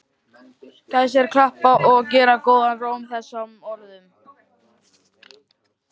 Gestir klappa og gera góðan róm að þessum orðum.